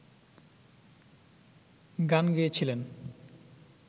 গান গেয়েছিলেন